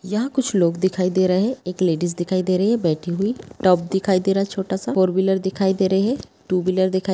यहाँ कुछ लोग दिखाई दे रहे है एक लेडिस दिखाई दे रही है बैठी हुई टॉप दिखाई दे रहा है छोटा -सा फोर विलर दिखाई दे रहे है टू -विलर दिखाई --